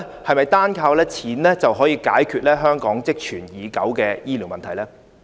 是否單靠錢便可以解決香港積存已久的醫療問題呢？